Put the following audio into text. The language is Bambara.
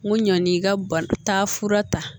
N ko ɲani i ka ba taa fura ta